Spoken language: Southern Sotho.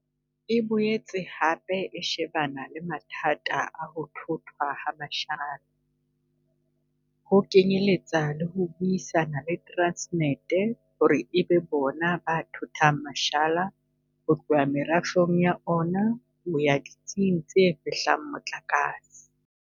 E boetse hape e shebana le mathata a ho thothwa ha mashala, ho kenyeletsa le ho buisana le Transnet hore e be bona ba thothang mashala ho tloha merafong ya ona ho ya ditsing tse fehlang motlakase.